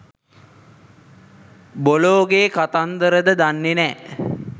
බොලොගෙ කතන්දරද දන්නෙ නෑ.